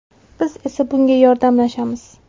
Biz esa bunga yordamlashamiz.